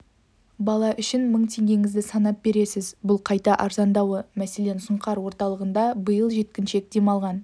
бала үшін мың теңгеңізді санап бересіз бұл қайта арзандауы мәселен сұңқар орталығында биыл жеткіншек демалған